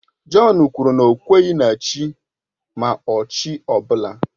Jọn kwuru na ọ kweghị na Chi ma ọ chi ọ bụla.